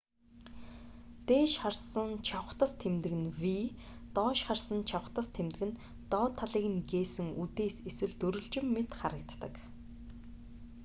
дээш харсан чавхдас тэмдэг нь v доош харсан чавхдас тэмдэг нь доод талыг нь гээсэн үдээс эсвэл дөрвөлжин мэт харагддаг